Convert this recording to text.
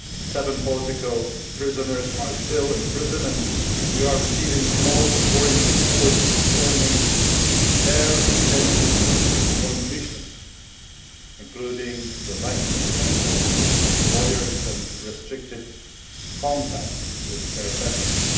Seven political prisoners are still in prison and we are receiving most worrying reports concerning their detention conditions, including the lack of access to lawyers and restricted contacts with their families.